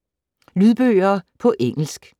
Lydbøger på engelsk